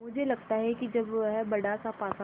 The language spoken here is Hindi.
मुझे लगता है कि जब वह बड़ासा पासा